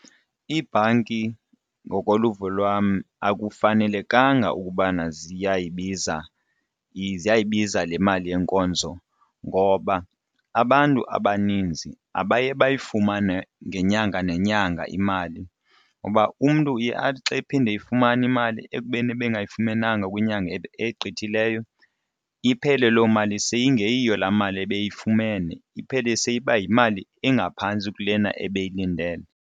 Ibhanki ngokoluvo lwam akufanelekanga ukubana ziyayibiza le mali yenkonzo ngoba abantu abaninzi abaye bayifumane ngenyanga nenyanga imali uba umntu uye athi xa iphinda eyifumane imali ekubeni ebengayifumenanga kwinyanga egqithileyo iphele loo mali seyingeyiyo laa mali ebiyifumene iphele seyiba yimali engaphantsi kulena ebeyilindele.